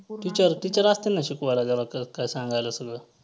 teacher असतील ना शिकवायला त्याला काय सांगायला सगळं.